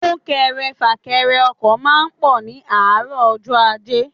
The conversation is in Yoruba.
Súnkẹrẹ fàkẹrẹ ọkọ̀ máa ń pọ̀ ní àárọ̀ ọjọ́ ajé.